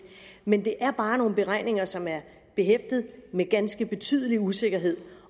men det er bare nogle beregninger som er behæftet med ganske betydelig usikkerhed